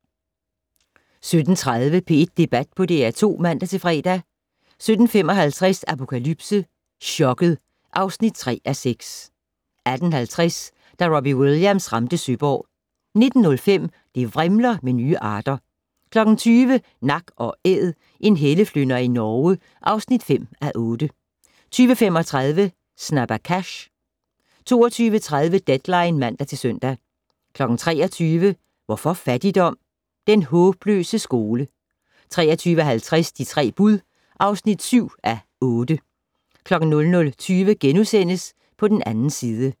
17:30: P1 Debat på DR2 (man-fre) 17:55: Apokalypse - chokket (3:6) 18:50: Da Robbie Williams ramte Søborg 19:05: Det vrimler med nye arter 20:00: Nak & Æd - en helleflynder i Norge (5:8) 20:35: Snabba Cash 22:30: Deadline (man-søn) 23:00: Hvorfor fattigdom? - Den håbløse skole 23:50: De tre bud (7:8) 00:20: På den 2. side *